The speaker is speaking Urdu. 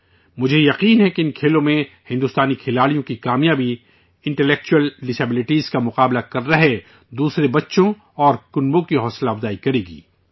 مجھے یقین ہے کہ ان کھیلوں میں ہندوستانی کھلاڑیوں کی کامیابی انٹیلیکچول ڈسیبلٹیز کا مقابلہ کر رہے دیگر بچوں اور خاندانوں کو بھی حوصلہ فراہم کرے گی